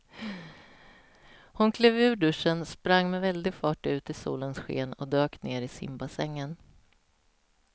Hon klev ur duschen, sprang med väldig fart ut i solens sken och dök ner i simbassängen.